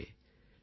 நண்பர்களே